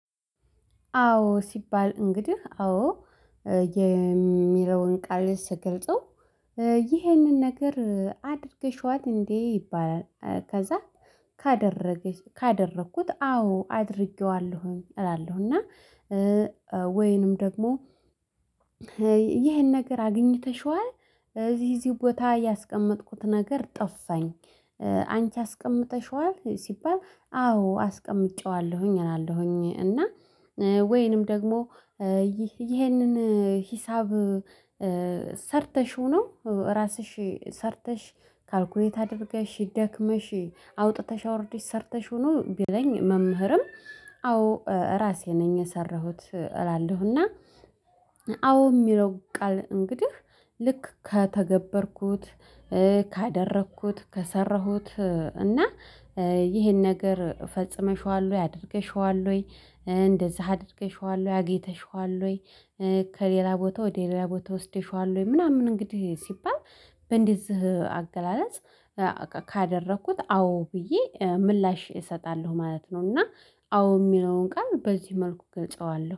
አዎ ሲባል እንግዲህ አዎ የሚለውን ቃል ስገልጸው ይህንን ነገር አድርገሽዋት እንዴ ይባላል? ከዛ ካደረኩት አዎ አድርጌዋለሁ እላለሁ። እና ወይንም ደግሞ ይሄን ነገር አግኝተሽዋል እዚህ እዚህ ቦታ ያስቀመጥኩት ነገር ጠፋኝ። አንቺ አስቀምጠሽዋል ሲባል አዎ አስቀምጨዋለሁኝ እላለሁኝ። እና ወይንም ደግሞ ይህንን ሂሳብ ሰርተሽው ነው ራስሽ ሰርተሽ ካልኩሌት አድርገሽ ደክመሽ አውጥተሽ አውርደሽ ሰርተሽ ነው? ቢለኝ መምህርም አዎ ራሴ ነኝ የሰራሁት እላለሁና። አዎ የሚለው ቃል እንግዲህ ልክ ከተገበርኩት ካደረግኩት ከሰራሁት እና ይሄን ነገር ፈጽመሽዋል ወይ አድርገሽዋል ወይ እንደዛ አድርገሽዋል አግኝተሽዋለሁ ወይ? ከሌላ ቦታ ወደ ሌላ ቦታ ወስደሽዋል ወይ? ምናምን እንግዲህ ሲባል በእንደዚህ አገላለጽ ካደረኩት አዎ ብዬ ምላሽ እሰጣለሁ ማለት ነው። እና አዎ የሚለውን ቃል በዚህ መልኩ እገልጸዋለሁ